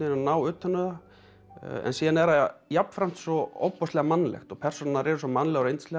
ná utan um það en síðan er það jafnframt svo ofboðslega mannlegt og persónurnar eru svo mannlegar og yndislegar